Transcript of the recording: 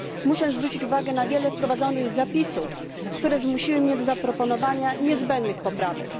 Muszę zwrócić uwagę na wiele wprowadzonych zapisów, które zmusiły mnie do zaproponowania niezbędnych poprawek.